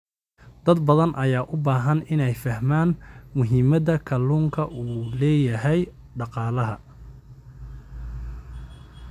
Dad badan ayaa u baahan inay fahmaan muhiimadda kalluunka u leeyahay dhaqaalaha.